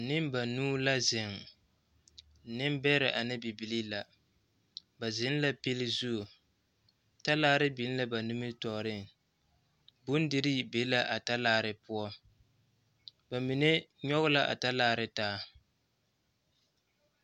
Neŋ ba nuu la zeŋ nembɛrɛ ane bibilii la ba zeŋ la pili zu talaare biŋ la ba nimitɔɔreŋ bondirii be la a talaare poɔ ba mine nyɔge la a talaare taa.